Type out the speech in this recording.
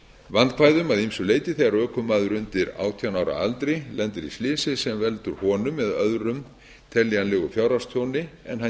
vandkvæðum að ýmsu leyti þegar ökumaður undir átján ára aldri lendir í slysi sem veldur honum eða öðrum teljanlegu fjárhagstjóni en hann